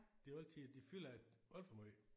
Det er altid de fylder alt for meget